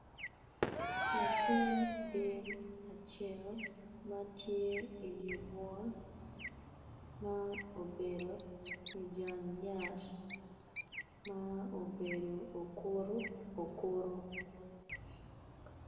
Latin bim acel ma tye idye bunga ma obedo ijang yat ma obedo okutu okutu